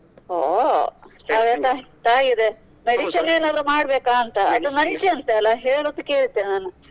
ಒಹ್ ಆಗದ್ರೆ ತಾಗಿದೆ medicine ಏನಾದ್ರು ಮಾಡ್ಬೇಕಾಂತ ಅಂತಲಾ ಹೇಳುದ್ ಕೇಳ್ತೆ ನಾನು.